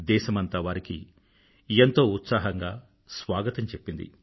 దేశమంతా వారికి ఎంతో ఉత్సాహంగా స్వాగతం చెప్పింది